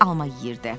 Ben alma yeyirdi.